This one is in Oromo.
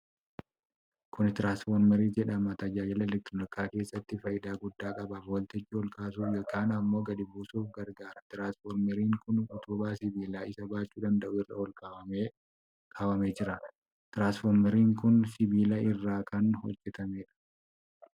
Kuni tiraanisfoormarii jedhama. tajaajila elektrikaa keessatti faayidaa guddaa qaba. Volteejii olkaasuuf yookiin ammoo gadi buusuuf gargaara. Tiraansfoormarri kun utubaa sibiilaa isa baachuu danda'u irra ol kaafamee kaawwamee jira. Tiraansfoormarri kun sibiila irraa kan hojjatamedha.